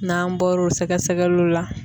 N'an bɔr'o sɛgɛsɛgɛliw la